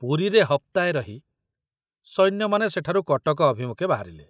ପୁରୀରେ ହପ୍ତାଏ ରହି ସୈନ୍ୟମାନେ ସେଠାରୁ କଟକ ଅଭିମୁଖେ ବାହାରିଲେ।